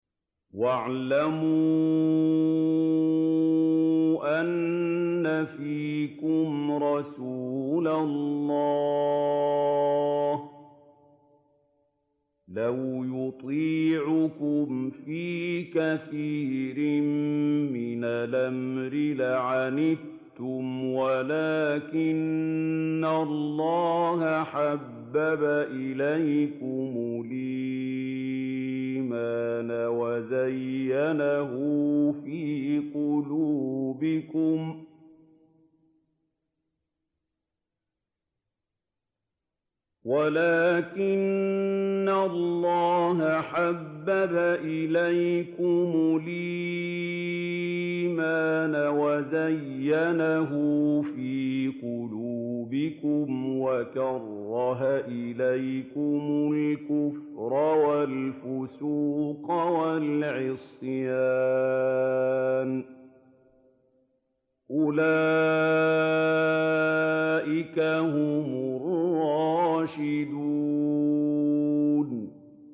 وَاعْلَمُوا أَنَّ فِيكُمْ رَسُولَ اللَّهِ ۚ لَوْ يُطِيعُكُمْ فِي كَثِيرٍ مِّنَ الْأَمْرِ لَعَنِتُّمْ وَلَٰكِنَّ اللَّهَ حَبَّبَ إِلَيْكُمُ الْإِيمَانَ وَزَيَّنَهُ فِي قُلُوبِكُمْ وَكَرَّهَ إِلَيْكُمُ الْكُفْرَ وَالْفُسُوقَ وَالْعِصْيَانَ ۚ أُولَٰئِكَ هُمُ الرَّاشِدُونَ